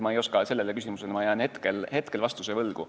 Sellele küsimusele ma jään hetkel vastuse võlgu.